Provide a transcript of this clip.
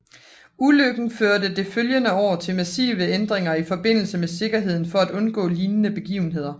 Ulykken førte det følgende år til massive ændringer i forbindelse med sikkerheden for at undgå lignende begivenheder